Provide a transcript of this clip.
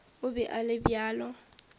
o be a le bjalo